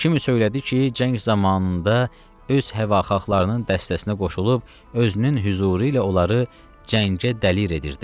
Kimisə söylədi ki, cəng zamanında öz həvahaxlarının dəstəsinə qoşulub, özünün hüzuru ilə onları cəngə tələr edirdi.